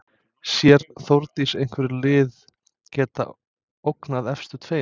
Sér Þórdís einhver lið geta ógnað efstu tveimur?